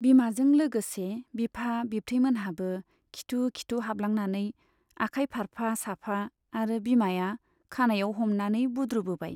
बिमाजों लोगोसे बिफा बिब्थैमोनहाबो खिथु खिथु हाबलांनानै आखाय फारफा साफा आरो बिमाया खानाइयाव हमनानै बुद्रुबोबाय।